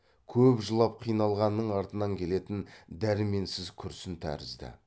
көп жылап қиналғанның артынан келетін дәрменсіз күрсін тәрізді